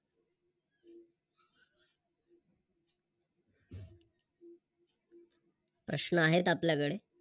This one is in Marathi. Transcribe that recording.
प्रश्न आहेत आपल्याकडे